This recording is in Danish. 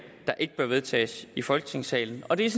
der ikke bør vedtages i folketingssalen og det er